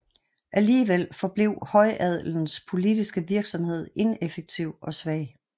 Alligevel forblev højadelens politiske virksomhed ineffektiv og svag